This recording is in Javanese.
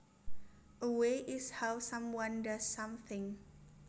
A way is how someone does something